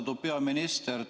Austatud peaminister!